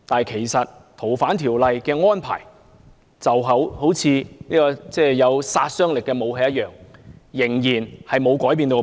其實《逃犯條例》的安排正如有殺傷力的武器，其本質不會因而改變。